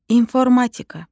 İnformatika.